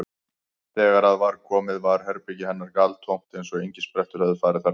Þegar að var komið var herbergi hennar galtómt eins og engisprettur hefðu farið þar um.